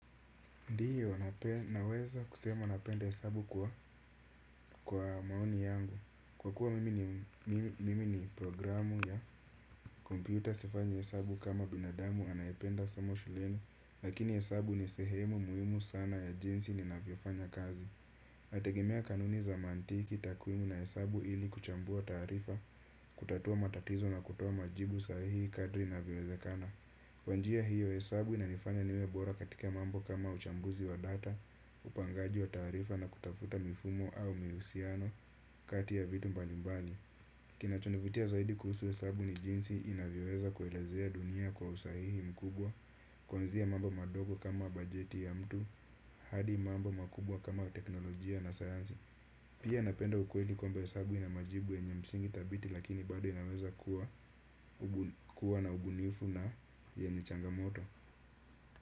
Ndio naweza kusema napenda hesabu kwa maoni yangu. Kwa kuwa mimi mimi ni programu ya kompyuta sifanyi hesabu kama binadamu anaependa somo shuleni, lakini, hesabu ni sehemu muhimu sana ya jinsi ninavyofanya kazi. Ategemea kanuni za mantiki takwimu na hesabu ili kuchambua taarifa. Kutatua matatizo na kutoa majibu sahihi kadri navyowezekana. Kwa njia hiyo, hesabu inanifanya niwe bora katika mambo kama uchambuzi wa data. Upangaji wa taarifa na kutafuta mifumo au mihusiano kati ya vitu mbalimbali. Kinachonivutia zaidi kuhusu hesabu ni jinsi inavyoweza kuelezea dunia kwa usahihi mkubwa. Kuanzia mambo madogo kama bajeti ya mtu. Hadi mambo makubwa kama teknolojia na sayansi. Pia, napenda ukweli kwamba hesabu ina majibu enye msingi thabiti lakini bado inaweza kuwa na ubunifu na yenye changamoto.